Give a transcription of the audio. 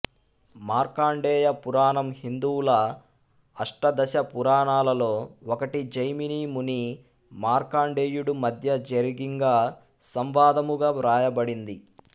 మార్కండేయ పురాణం హిందువుల అష్టాదశ పురాణాలలో ఒకటి జైమిని ముని మార్కండేయుడు మధ్య జరిగింగ సంవాదముగా వ్రాయబడింది